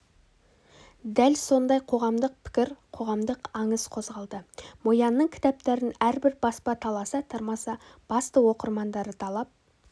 дәл сондай қоғамдық пікір қоғамдық аңыс қозғалды мо янның кітаптарын әрбір баспа таласа-тармаса басты оқырмандары талап